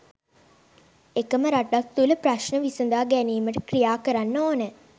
එකම රටක් තුළ ප්‍රශ්න විසඳා ගැනීමට ක්‍රියා කරන්න ඕනෑ